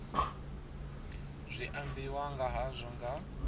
zwi ambiwa nga hazwo nga